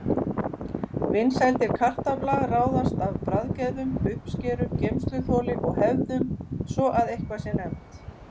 Vinsældir kartafla ráðast af bragðgæðum, uppskeru, geymsluþoli og hefðum, svo að eitthvað sé nefnt.